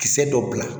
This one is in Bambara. Kisɛ dɔ bila